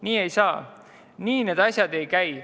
Nii ei saa, nii need asjad ei käi.